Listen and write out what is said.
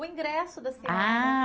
O ingresso da senhora. Ah